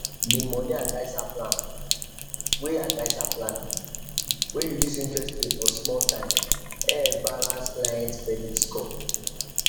the money adviser plan wey adviser plan wey reduce interest rate for small time help balance clients credit score